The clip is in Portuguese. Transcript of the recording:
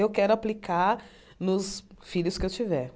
Eu quero aplicar nos filhos que eu tiver.